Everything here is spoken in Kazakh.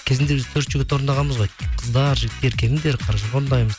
кезінде біз төрт жігіт орындағанбыз ғой қыздар жігіттер келіңдер қаражорға орындаймыз